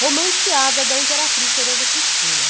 romanceada da Imperatriz Teresa Cristina.